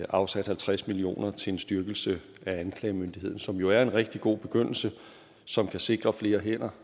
afsat halvtreds million kroner til en styrkelse af anklagemyndigheden som jo er en rigtig god begyndelse som kan sikre flere hænder